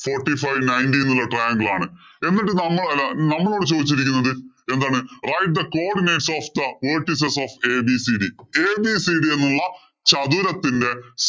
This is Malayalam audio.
Forty five ninety എന്നുള്ള triangaler ആണ്. എന്നിട്ട് നമ്മ അല്ല നമ്മളോട് ചോദിച്ചിരിക്കുന്നത് എന്താണ്? write the codinates of the vertices of ABCD? ABCD എന്നുള്ള ചതുരത്തിന്‍റെ